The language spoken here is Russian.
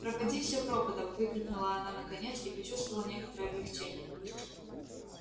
пропади всё пропадом выкрикнула она наконец и почувствовала некоторое облегчение